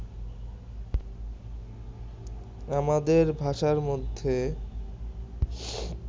আমাদের ভাষার মধ্যে